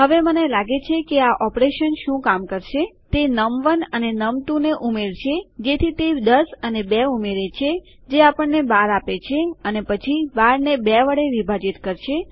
હવે મને લાગે છે કે આ ઓપરેશન શું કામ કરશે તે નમ1 અને નમ2 ને ઉમેરશે જેથી તે ૧૦ અને ૨ ઉમેરે છે જે આપણને ૧૨ આપે છે અને પછી ૧૨ને ૨ વડે વિભાજિત કરશે